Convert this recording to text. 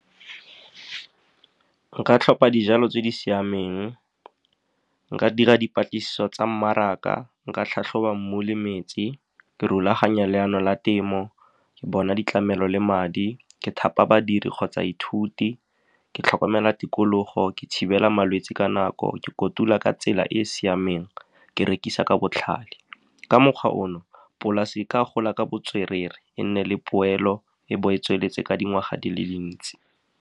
Nka tlhopha dijalo tse di siameng, nka dira dipatlisiso tsa mmaraka, nka tlhatlhoba mmu le metsi, ke rulaganya leano la temo, ke bona ditlamelo le madi, ke thapa badiri kgotsa ithuti, ke tlhokomela tikologo ke thibela malwetse ka nako, ke kotula ka tsela e e siameng, ke rekisa ka botlhale. Ka mokgwa ono, polase e ka gola ka botswerere, e nne le poelo, e bo e tsweletse ka dingwaga di le dintsi.